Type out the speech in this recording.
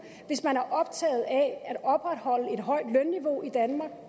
hvis man er optaget af at opretholde et højt lønniveau i danmark